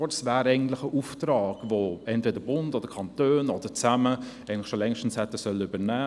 Eigentlich ist dies ein Auftrag, den der Bund oder die Kanone, oder beide zusammen, längst übernehmen sollten.